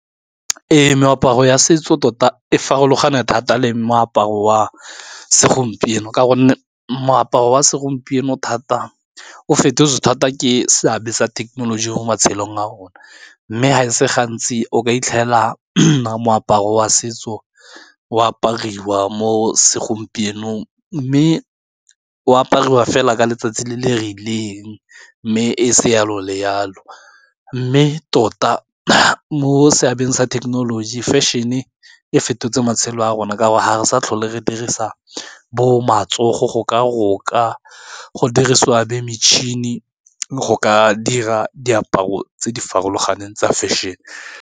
Ee, meaparo ya setso tota e farologane thata le moaparo wa segompieno ka gonne moaparo wa segompieno thata o fetotse thata ke se abetsa thekenoloji mo matshelong a rona, mme ga e se gantsi o ka itlhela moaparo wa setso o apariwa mo segompienong, mme o apariwa fela ka letsatsi le le rileng mme e seng yalo le yalo, mme tota mo seabeng sa thekenoloji fashion-e e fetotse matshelo a rona ka gore ga re sa tlhole re dirisa bo matsogo go ka roka go dirisiwa be metšhini go ka dira diaparo tse di farologaneng tsa fashion-e.